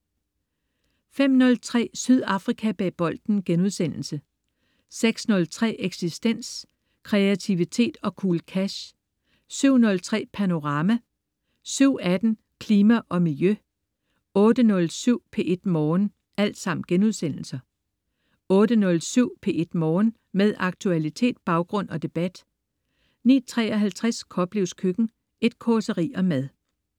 05.03 Sydafrika bag bolden* 06.03 Eksistens.* Kreativitet og cool cash 07.03 Panorama* 07.18 Klima og Miljø* 08.07 P1 Morgen* 08.07 P1 Morgen. Med aktualitet, baggrund og debat 09.53 Koplevs Køkken. Et causeri om mad